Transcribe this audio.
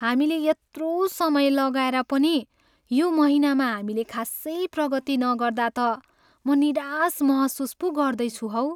हामीले यत्रो समय लगाएर पनि यो महिनामा हामीले खासै प्रगति नगर्दा त म निराश महसुस पो गर्दैछु हौ।